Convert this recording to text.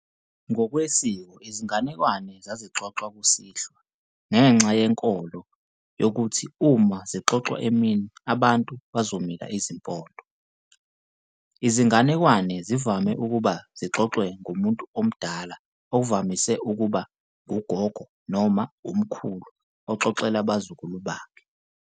Ngokwesiko izinganekwane zabe zixoxwa kusihlwa ngenxa yenkolo uma sebengiyokuthi uma zixoxwa emini abantu bazomila izimpondo. Izinganekwane zivame ukuba zixoxwe ngumuntu omdala okuvamise ukuba ngugogo noma umkhulu oxoxela abazukulu bakhe.